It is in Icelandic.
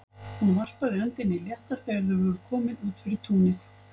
Hún varpaði öndinni léttar þegar þau voru komin út fyrir túnið.